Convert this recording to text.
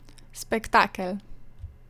Spektakel!